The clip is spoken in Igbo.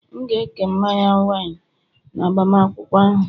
M ga-eke mmanya wine, n'agbamakwụkwọ ahụ